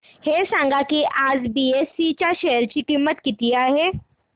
हे सांगा की आज बीएसई च्या शेअर ची किंमत किती आहे